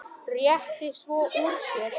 Rétti svo úr sér.